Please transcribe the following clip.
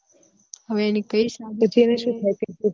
હવે એની